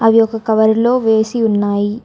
అవి ఒక కవర్లో వేసి ఉన్నాయి